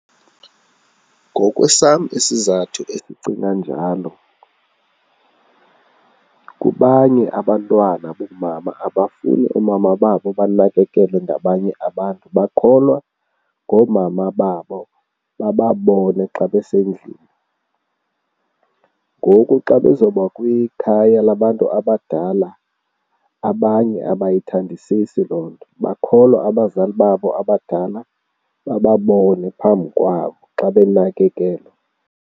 Ngokwesam isizathu endicinga njalo, kubanye abantwana boomama abafuni oomama babo banakekelwe ngabanye abantu, bakholwa ngoomama babo bababone xa besendlini. Ngoku xa bezoba kwikhaya labantu abadala, abanye abayithandisisi loo nto, bakholwa abazali babo abadala bababone phambi kwabo xa benakekelwa.